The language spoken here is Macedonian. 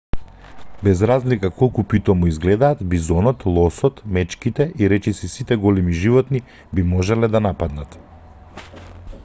без разлика колку питомо изгледаат бизонот лосот мечките и речиси сите големи животни би можеле да нападнат